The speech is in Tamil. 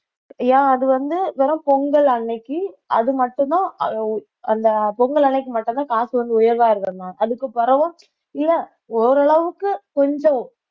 ஏ அது வந்து வெறும் பொங்கல் அன்னைக்கு அது மட்டும்தான் அந்த பொங்கல் அன்னைக்கு மட்டும்தான் காசு வந்து உயர்வா இருக்கிற நாள் அதுக்கு பிறகும் இல்லை ஓரளவுக்கு கொஞ்சம்